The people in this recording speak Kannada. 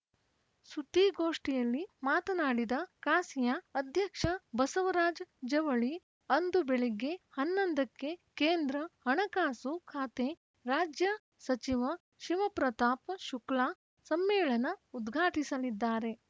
ಸುದ್ದಿಗೋಷ್ಠಿಯಲ್ಲಿ ಮಾತನಾಡಿದ ಕಾಸಿಯಾ ಅಧ್ಯಕ್ಷ ಬಸವರಾಜ ಜವಳಿ ಅಂದು ಬೆಳಗ್ಗೆ ಹನ್ನೊಂದಕ್ಕೆ ಕೇಂದ್ರ ಹಣಕಾಸು ಖಾತೆ ರಾಜ್ಯ ಸಚಿವ ಶಿವಪ್ರತಾಪ್‌ ಶುಕ್ಲಾ ಸಮ್ಮೇಳನ ಉದ್ಘಾಟಿಸಲಿದ್ದಾರೆ